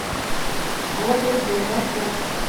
бодрый день маршрут